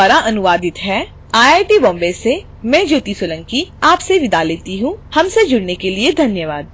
यह स्क्रिप्ट विकास द्वारा अनुवादित है आई आई टी बॉम्बे से मैं ज्योति सोलंकी आपसे विदा लेती हूँ हमसे जुडने के लिए धन्यवाद